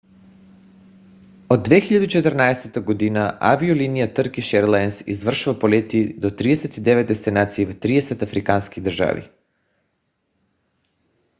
от 2014 г. авиолония търкиш еърлайнс извършва полети до 39 дестинации в 30 африкански държави